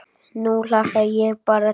Nú hlakka ég bara til.